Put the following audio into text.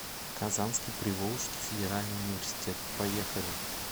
казанский приволжский федеральный университет поехали